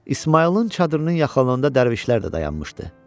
İsmayılın çadırının yaxınlığında dərvişlər də dayanmışdı.